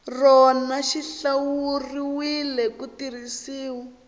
rona xi hlawuriwile ku tirhisiwa